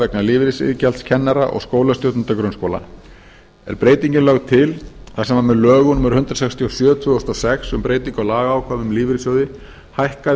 vegna lífeyrisiðgjalds kennara og skólastjórnenda grunnskóla er breytingin lögð til þar sem með lögum númer hundrað sextíu og sjö tvö þúsund og sex um breytingu á lagaákvæðum um lífeyrissjóði hækkaði